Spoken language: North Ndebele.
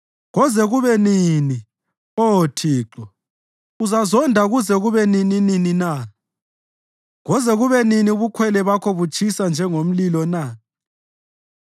Koze kube nini, Oh Thixo? Uzazonda kuze kube nininini na? Koze kube nini ubukhwele bakho butshisa njengomlilo na?